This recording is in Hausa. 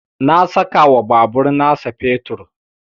Na saka wa babur na sa fetur